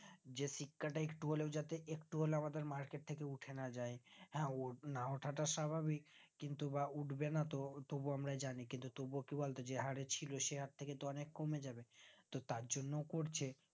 যে শিক্ষাটাই একটু হলেও যাতে একটু হলে আমাদের market থেকে উঠে না যাই হ্যাঁ ওনা ওঠা টা স্বাভাবিক কিন্তু বা উঠবেনাতো তবু আমরা জানি কিন্তু তবু কি বলতো যে হরে ছিল সে হারথেকে তো অনেক কমে যাবে তো তার জন্য করছে